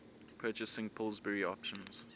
purchasing pillsbury options